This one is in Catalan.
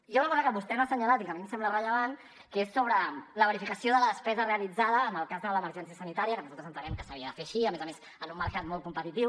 hi ha una cosa que vostè no ha assenyalat i que a mi em sembla rellevant que és sobre la verificació de la despesa realitzada en el cas de l’emergència sanitària que nosaltres entenem que s’havia de fer així i a més a més en un mercat molt competitiu